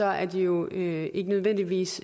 er de jo ikke nødvendigvis